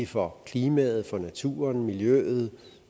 for klimaet naturen miljøet